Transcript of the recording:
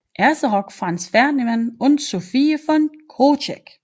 Erzherzog Franz Ferdinand und Sophie von Chotek